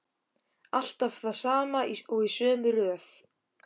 Alltaf það sama og í sömu röð.